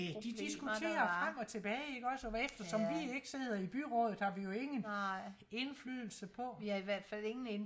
næ de diskuterer frem og tilbage ikke også og eftersom vi ikke sidder i byrådet har vi jo ingen indflydelse på